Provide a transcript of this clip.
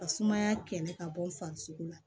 Ka sumaya kɛlɛ ka bɔ farisoko la